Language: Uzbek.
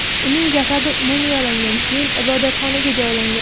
Uning jasadi mumiyolangan, keyin ibodatxonaga joylangan.